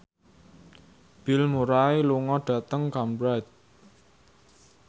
Bill Murray lunga dhateng Cambridge